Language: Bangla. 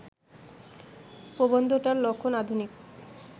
প্রবন্ধটার লক্ষণ আধুনিক